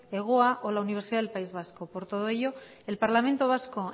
hegoa o la universidad del país vasco por todo ello el parlamento vasco